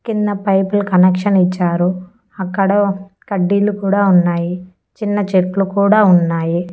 కింద పైపులు కనెక్షన్ ఇచ్చారు అక్కడ కడ్డీలు కూడా ఉన్నాయి చిన్న చెట్లు కూడా ఉన్నాయి.